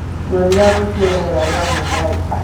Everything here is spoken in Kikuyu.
Nyonia ruciu riera ria mumbai